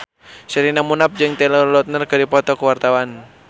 Sherina Munaf jeung Taylor Lautner keur dipoto ku wartawan